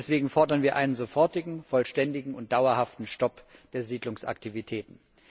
Deswegen fordern wir einen sofortigen vollständigen und dauerhaften Stopp der Siedlungsaktivitäten.